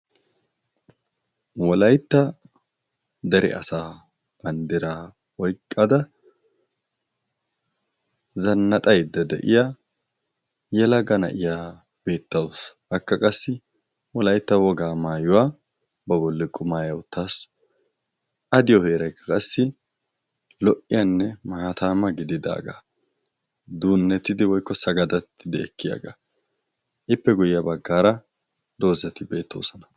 Wolaytta dere asaa bandiraa oyiqqada zannaxayidda de"iya yelaga na'iya beettawusu. Akka qassi Wolaytta wogaa maayuwa ba bolla qumaaya uttasu. A diyo heerayikka qassi lo"iyaanne maataama gididaagaa. Duunnetidi woyikko sagadattidi ekkiyaga. Ippe guyye baggaara doozati beettoosona.